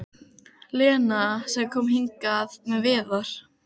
Lena sem kom hingað með Viðar?